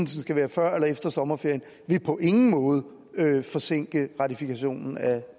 så skal være før eller efter sommerferien på ingen måde vil forsinke ratifikationen af